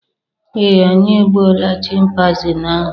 ee, anyị egbuola Chịmpaizịn ahụ